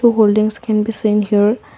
holdings can be seen here.